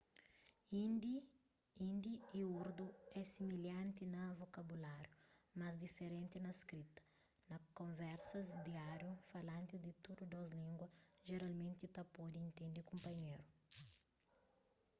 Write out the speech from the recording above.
hindi y urdu é similhanti na vokabuláriu mas diferenti na skrita na konversas diáriu falantis di tudu dôs língua jeralmenti ta pode intende kunpanheru